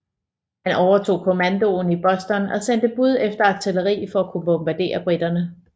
Han overtog kommandoen i Boston og sendte bud efter artilleri for at kunne bombardere briterne